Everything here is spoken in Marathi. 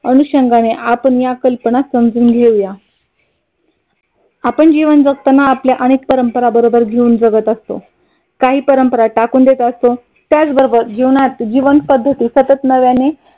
अनुषंगाने आपण या कल्पना समजून घेऊया. आपण जीवन जगताना आपल्या अनेक परंपरा बरोबर जीवन जगत असतो. काही परंपरा टाकून देत असतो. त्याच बरोबर जीवनात जीवन पद्धती सतत नव्याने